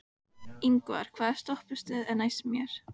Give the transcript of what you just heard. Ingvar, hvaða stoppistöð er næst mér?